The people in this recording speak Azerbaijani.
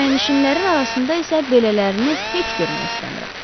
Kirayənişinlərin arasında isə belələrini heç görmək istəmirəm.